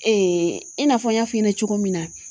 i n'a fɔ n y'a f'i ɲɛna cogo min na